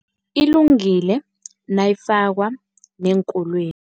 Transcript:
Ilungile nayifakwa neenkolweni.